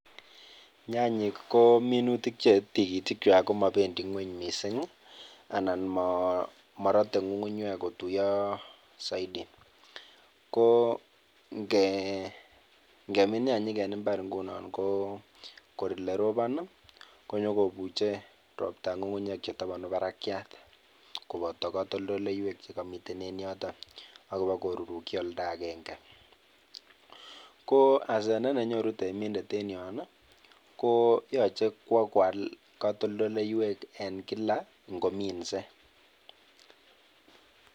Nyanyik ko minutik chetikitikwak komobendi ng'weny mising anan morote ng'ung'unyek kotuyo soiti, ko ngemin nyanyik en imbar ko ingunon ko kor elerobon i konyokobuje robta ng'ung'unyek chetobonu barakiat koboto kotoldoleiwek chekomiten en yoton akobo korurukyi oldakeng'e, ko asenet nenyoru temindet en yon i koyoche kwokwal katoldoleiwek en kila ng'ominse.